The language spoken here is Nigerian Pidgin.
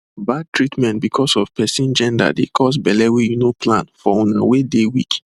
bad treatment because of person genderdey cause belle wey you no plan for una wey dey weak